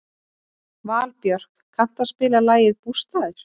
Valbjörk, kanntu að spila lagið „Bústaðir“?